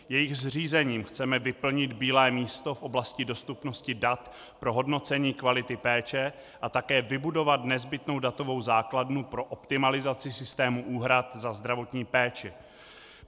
Jejich zřízením chceme vyplnit bílé místo v oblasti dostupnosti dat pro hodnocení kvality péče a také vybudovat nezbytnou datovou základnu pro optimalizaci systému úhrad za zdravotní péči.